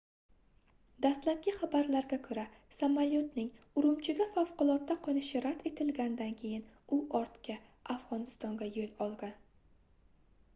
dastlabki xabarlarga koʻra samolyotning urumchiga favqulodda qoʻnishi rad etilgandan keyin u ortga afgʻonistonga yoʻl olgan